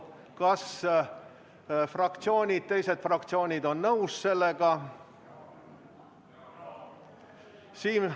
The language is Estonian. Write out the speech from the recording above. Kas teised fraktsioonid on sellega nõus?